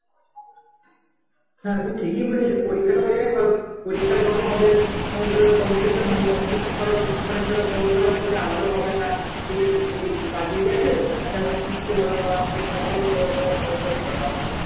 হ্যাঁ তুমি ঠিকই পরীক্ষা যখন হবে তো তখন competition হবে competition হবে আগ্রহ হবে এগিয়ে এখন আমাকে জিততে হবে পড়তে হবে বা পড়াশোনা করতে হবে